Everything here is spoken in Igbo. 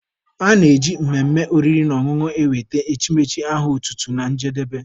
A na-eji mmemme oriri na ọṅụṅụ ewete echimechi aha otutu na njedebe